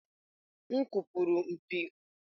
M kụpụrụ mpi ahụ nke ukwuu.